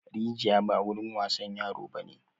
Rijiya ba wurin wasan yaro ba ne!